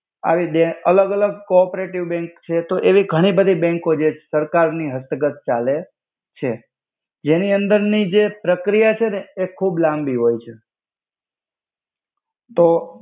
આવિ જે અલ્ગ અલ્ગ કો-ઓપેરેટિવ બેંક છે. તો એવી ઘની બધી બેંકો જે સરકાર ના હસ્તગત ચાલે છે. જેનિ અંદર ની જે પ્રક્રિય છેને એ ખુબ લામ્બિ હોય છે.